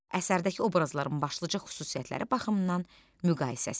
Əsərdəki obrazların başlıca xüsusiyyətləri baxımından müqayisəsi.